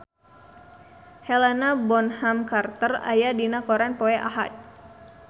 Helena Bonham Carter aya dina koran poe Ahad